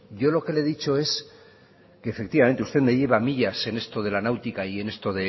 yo lo que lo he dicho es que efectivamente usted me lleva millas en esto de la náutica y en